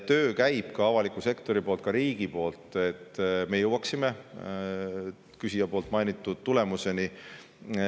Töö käib, ka avalik sektor, riik teeb tööd selle nimel, et me jõuaksime küsija mainitud tulemuseni.